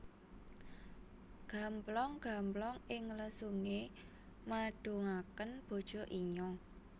Gamplong gamplong ing lesunge madungaken bojo inyong